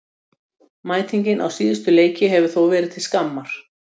Mætingin á síðustu leiki hefur þó verið til skammar.